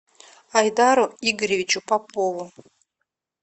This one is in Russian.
айдару игоревичу попову